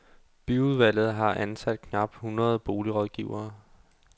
Byudvalget har ansat knap hundrede boligrådgivere.